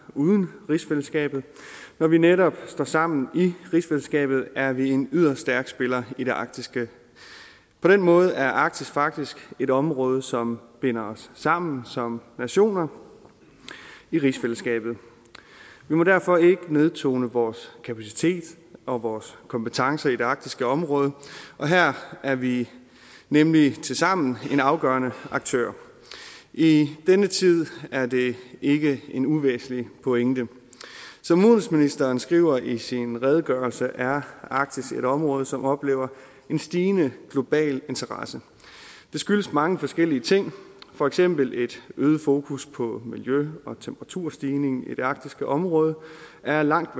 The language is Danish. uden rigsfællesskabet når vi netop står sammen i rigsfællesskabet er vi en yderst stærk spiller i det arktiske på den måde er arktis faktisk et område som binder os sammen som nationer i rigsfællesskabet vi må derfor ikke nedtone vores kapacitet og vores kompetencer i det arktiske område her er vi nemlig tilsammen en afgørende aktør i denne tid er det ikke en uvæsentlig pointe som udenrigsministeren skriver i sin redegørelse er arktis et område som oplever en stigende global interesse det skyldes mange forskellige ting for eksempel et øget fokus på miljø og at temperaturstigningen i det arktiske område er langt